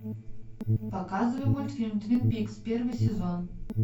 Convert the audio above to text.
показывай мультфильм твин пикс первый сезон